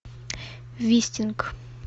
вистинг